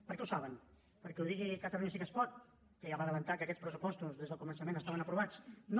per què ho saben perquè ho digui catalunya sí que es pot que ja va avançar que aquests pressupostos des del començament estaven aprovats no